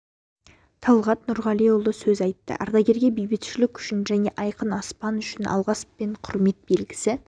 талғат нұрғалиұлы сөз айтты ардагерге бейбітшілік үшін және айқын аспан үшін алғыс пен құрмет белгісі